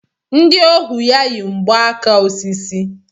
Ndị ohu ya yi mgba aka osisi.